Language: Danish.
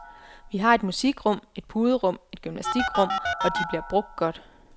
Vi har et musikrum, et puderum og et gymnastikrum og de bliver brugt godt.